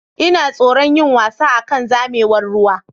Ina tsoron yin wasa akan zamewar ruwa.